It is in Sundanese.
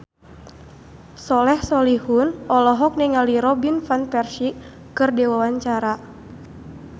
Soleh Solihun olohok ningali Robin Van Persie keur diwawancara